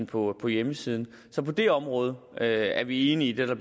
på på hjemmesiden så på det område er er vi enige i det der